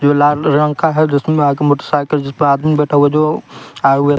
जो लाल रंग का है जिसमें आगे मोटरसाइकिल जिस पर आदमी बैठा हुआ है जो आए हुए--